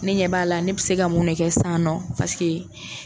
Ne ɲɛ b'a la, ne bɛ se ka mun de kɛ sisan nɔ paseke